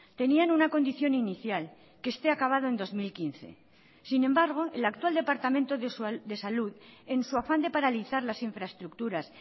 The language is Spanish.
tenían una condición inicial que esté acabado en dos mil quince sin embargo el actual departamento de salud en su afán de paralizar las infraestructuras